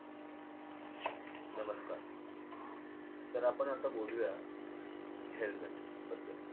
नमस्कार, तर आपण आत्ता बोलूया helmet बद्दल.